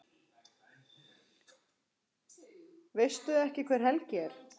Veistu ekki hver Helgi er?